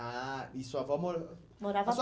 Ah, e sua avó mo Morava